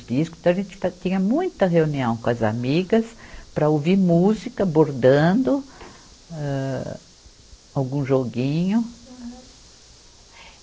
discos. Então, a gente ta tinha muita reunião com as amigas para ouvir música, bordando, âh, algum joguinho. Aham